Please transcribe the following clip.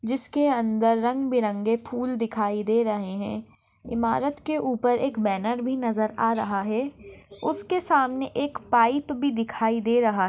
जिसके अंदर रंग-बिरंगे फूल दिखाई दे रहे है। इमारत के ऊपर एक बैनर भी नजर आ रहा है। उसके सामने एक पाइप भी दिखाई दे रहा--